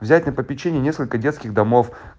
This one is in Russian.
взять на попечение несколько детских домов